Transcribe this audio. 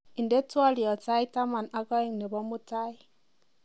inde twolyot sait taman ak oeng nebo mutai